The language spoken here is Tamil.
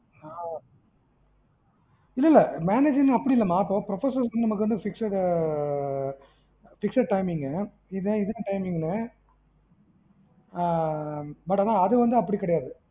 ஆஹ் இல்ல இல்ல manageing ஆ அப்படி இல்ல மா இப்ப professor நமக்கு வந்து fixed timing இது இதுக்கு timing ஆஹ் but அது வந்து அப்படி கிடையாது